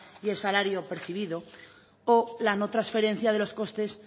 y el salario percibido o la no transferencia de los costes